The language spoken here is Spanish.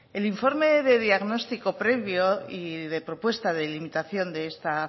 el informe de diagnóstico previo y de propuesta de limitación de esta